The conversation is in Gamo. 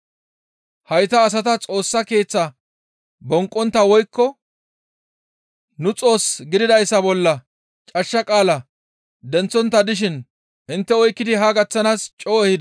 Hayta asata Xoossa Keeththa bonqqontta woykko nu xoos gididayssa bolla cashsha qaala denththontta dishin intte oykkidi haa gaththanaas coo ehideta.